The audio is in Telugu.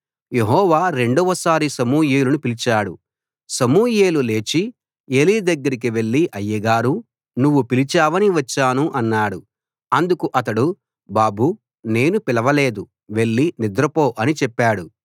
యెహోవా రెండవసారి సమూయేలును పిలిచాడు సమూయేలు లేచి ఏలీ దగ్గరికి వెళ్లి అయ్యగారూ నువ్వు పిలిచావని వచ్చాను అన్నాడు అందుకు అతడు బాబూ నేను పిలవలేదు వెళ్ళి నిద్రపో అని చెప్పాడు